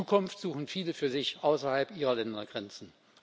Zukunft suchen viele für sich außerhalb ihrer Ländergrenzen.